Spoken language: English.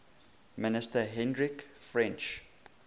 minister hendrik frensch